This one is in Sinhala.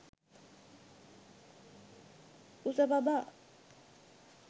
kusapaba